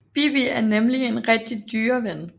Bibi er nemlig en rigtig dyreven